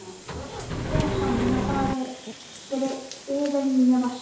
Fundum okkar ber saman inni á baði yfir nýja vaskinum.